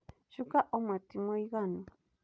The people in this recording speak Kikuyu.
Cuka ũmwe tu nĩ mũiganu.